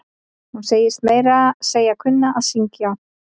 Hún segist meira að segja kunna að syngj.